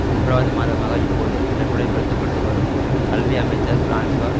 மூன்றாவது மாதமாக இப்போது நடைமுறைப்படுத்தப்பட்டு வரும் கல்வி அமைச்சர் பிரான்சுவா